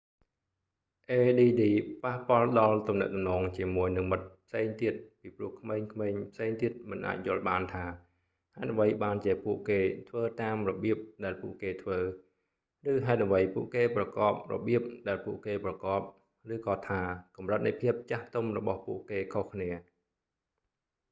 add ប៉ះពាល់ដល់ទំនាក់ទំនងជាមួយនឹងមិត្តផ្សេងទៀត ពីព្រោះក្មេងៗផ្សេងទៀតមិនអាចយល់បានថា ហេតុអ្វីបានជាពួកគេធ្វើតាមរបៀបដែលពួកគេធ្វើ ឬហេតុអ្វីពួកគេប្រកបរបៀបដែលពួកគេប្រកប ឬក៏ថាកំរិតនៃភាពចាស់ទុំរបស់ពួកគេខុសគ្នា